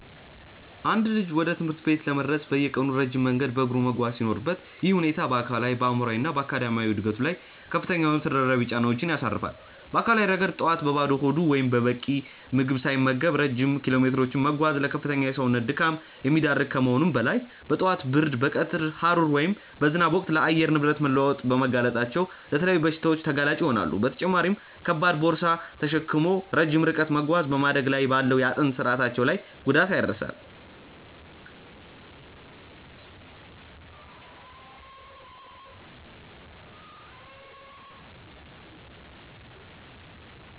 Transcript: አንድ ልጅ ወደ ትምህርት ቤት ለመድረስ በየቀኑ ረጅም መንገድ በእግሩ መጓዝ ሲኖርበት፣ ይህ ሁኔታ በአካላዊ፣ በአእምሯዊ እና በአካዳሚያዊ ዕድገቱ ላይ ከፍተኛ የሆኑ ተደራራቢ ጫናዎችን ያሳርፋል። በአካላዊ ረገድ፣ ጠዋት በባዶ ሆድ ወይም በቂ ምግብ ሳይመገቡ ረጅም ኪሎሜትሮችን መጓዝ ለከፍተኛ የሰውነት ድካም የሚዳርግ ከመሆኑም በላይ፣ በጠዋት ብርድ፣ በቀትር ሐሩር ወይም በዝናብ ወቅት ለአየር ንብረት መለዋወጥ በመጋለጣቸው ለተለያዩ በሽታዎች ተጋላጭ ይሆናሉ፤ በተጨማሪም ከባድ ቦርሳ ተሸክሞ ረጅም ርቀት መጓዝ በማደግ ላይ ባለው የአጥንት ስርአታቸው ላይ ጉዳት ያደርሳል።